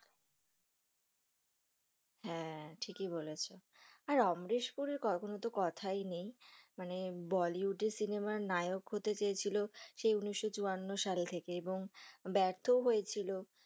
হ্যাঁ, ঠিকই বলেছো, আর অমরেশ পুরীর তো কোনো কোথায় নেই, মানে বলিউড এ সিনেমার নায়ক হতে চেয়ে ছিল, সেই উনিশ চুয়ান্ন সাল থেকে এবং ব্যর্থ ও হয়েছিল।